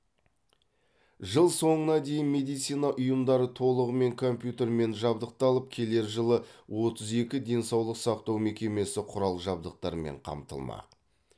жыл соңына дейін медицина ұйымдары толығымен компьютермен жабдықталып келер жылы отыз екі денсаулық сақтау мекемесі құрал жабдықтармен қамтылмақ